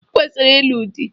I kwesiri ịlụ di!